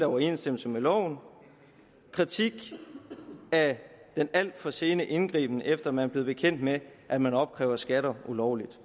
overensstemmelse med loven og kritik af den alt for sene indgriben efter man blev bekendt med at man opkrævede skatter ulovligt